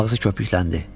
Ağzı köpükləndi.